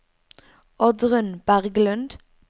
Oddrun Berglund